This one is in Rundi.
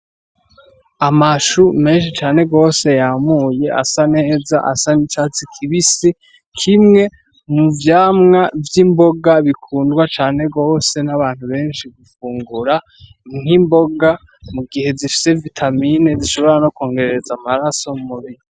Amashu menshi cane gose yamuye ,asa neza asa n'icatsi kibisi, kimwe muvyamwa vy'imboga bikundwa cane gose n'abantu benshi gufungura ,nk'imboga mugihe zifise vitamine zishobora kwongereza amaraso m'umubiri.